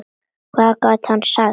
Hvað gat hann sagt?